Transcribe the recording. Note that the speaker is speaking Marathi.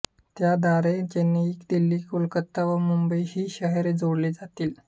त्याद्वारे चेन्नईदिल्लीकोलकाता व मुंबई ही शहरे जोडली जातील